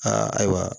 Aa ayiwa